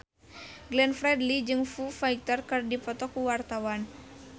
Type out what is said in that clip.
Glenn Fredly jeung Foo Fighter keur dipoto ku wartawan